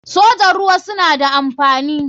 sojan ruwa suna da amfani.